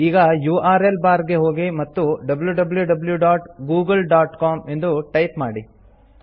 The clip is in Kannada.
ಈಗ ಯುಆರ್ಎಲ್ ಬಾರ್ ಗೆ ಹೋಗಿ ಮತ್ತು wwwgooglecom ಎಂದು ಟೈಪ್ ಮಾಡಿ